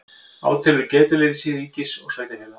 Átelur getuleysi ríkis og sveitarfélaga